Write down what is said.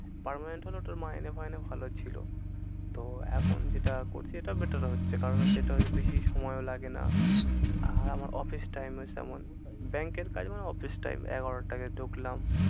Permanent হলে ওটার মাইনে ফাইনে ভালো ছিল। তো এখন যেটা করছি এটা better হচ্ছে কারণ হচ্ছে এটা হয় তো বেশি সময়ও লাগে না। আর আমার office time ও তেমন bank এর কাজ মানে office time এগারোটা আগে ঢুকলাম